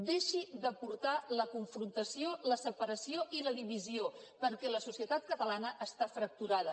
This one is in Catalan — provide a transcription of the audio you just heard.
deixi de portar la confrontació la separació i la divisió perquè la societat catalana està fracturada